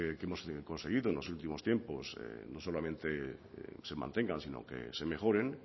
que hemos conseguido en los últimos tiempos no solamente se mantengan sino que se mejoren